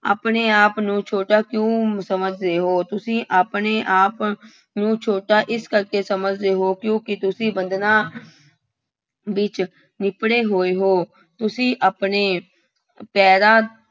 ਆਪਣੇ ਆਪ ਨੂੰ ਛੋਟਾ ਕਿਉਂ ਸਮਝਦੇ ਹੋ, ਤੁਸੀਂ ਆਪਣੇ ਆਪ ਨੂੰ ਛੋਟਾ ਇਸ ਕਰਕੇ ਸਮਝਦੇ ਹੋ ਕਿਉਂਕਿ ਤੁਸੀਂ ਬੰਧਨਾਂ ਵਿੱਚ ਲਿਬੜੇ ਹੋਏ ਹੋ ਤੁਸੀਂ ਆਪਣੇ ਪੈਰਾਂ